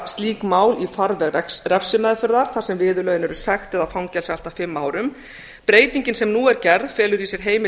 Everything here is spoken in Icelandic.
slík mál í farveg refsimeðferðar þar sem viðurlögin eru sekt eða fangelsi allt að fimm árum breytingin sem nú er gerð felur í sér heimild